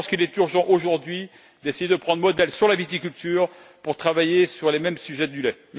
Je pense qu'il est urgent, aujourd'hui, d'essayer de prendre modèle sur la viticulture pour travailler sur le secteur du lait.